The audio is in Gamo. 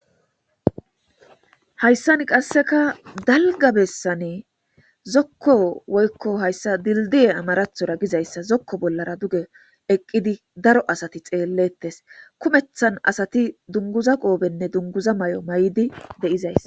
Hayssani qassekka dalgga bessan zokko woykko hayssa dildiye amarathora gizayssa zokko bolla duge eqidi daro Asati xelletees.kummeththan asati dunguza qopenne dunguza maayo maayidi eqidi de'etees.